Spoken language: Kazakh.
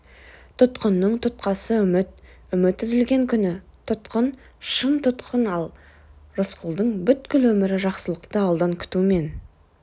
тұтқынның тұтқасы үміт үміт үзілген күні тұтқын шын тұтқын ал рысқұлдың бүткіл өмірі жақсылықты алдан күтумен